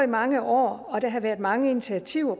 mange år og der har været mange initiativer